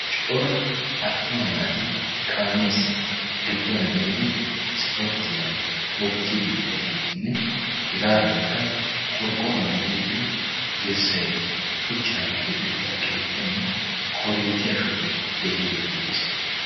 coora attuma naati kaamiyaasi gidduwan gelidi ispporttiyaa oottiidi de'iyaageetinne hegaadankka qorqqoruwan direttida dirssay shuchchan keexettida keettaynne korinttiyaa shubay de'iyaagee beettees